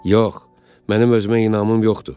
Yox, mənim özümə inamım yoxdur.